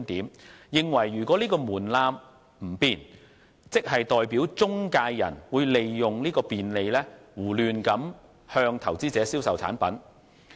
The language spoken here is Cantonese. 他們認為如果該門檻不變，即代表中介人會利用有關的便利，胡亂向投資者銷售產品。